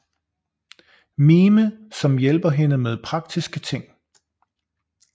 Mime som hjælper hende med praktiske ting